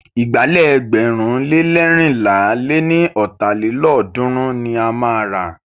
Ìgbálẹ̀ ẹgbẹ̀rún le leérinlá lé ní ọ́ta lélọ́ọ̀dúnrún ni a máa rà.